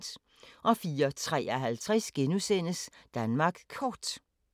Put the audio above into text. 04:53: Danmark Kort *